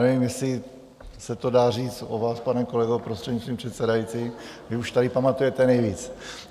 Nevím, jestli se to dá říct o vás, pane kolego, prostřednictvím předsedající, vy už tady pamatujete nejvíc.